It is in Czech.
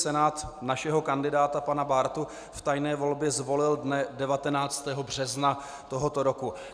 Senát našeho kandidáta pana Bártu v tajné volbě zvolil dne 19. března tohoto roku.